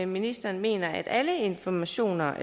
ministeren mener at alle informationer